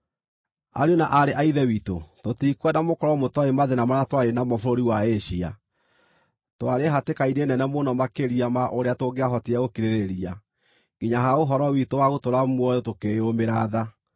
Ariũ na aarĩ a Ithe witũ, tũtikwenda mũkorwo mũtooĩ mathĩĩna marĩa twarĩ namo bũrũri wa Asia. Twarĩ hatĩka-inĩ nene mũno makĩria ma ũrĩa tũngĩahotire gũkirĩrĩria, nginya ha ũhoro witũ wa gũtũũra muoyo tũkĩyũũmĩra tha.